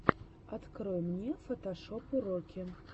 открой мне фотошоп уроки